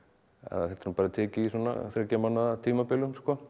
þetta er nú bara tekið í svona þriggja mánaða tímabilum